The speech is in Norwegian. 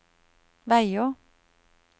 veier